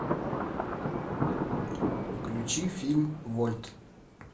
включи фильм вольт